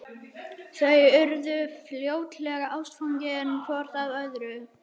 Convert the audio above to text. Þau urðu fljótlega ástfangin hvort af öðru.